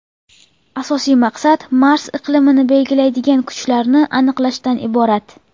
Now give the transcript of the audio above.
Asosiy maqsad Mars iqlimini belgilaydigan kuchlarni aniqlashdan iborat.